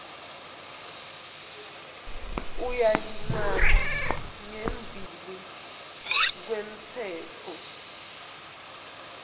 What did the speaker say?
uyalingana ngembi kwemtsetfo